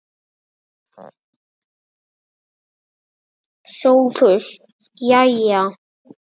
SOPHUS: Jæja!